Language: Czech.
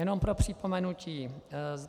Jenom pro připomenutí: